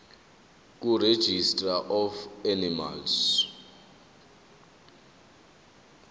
kuregistrar of animals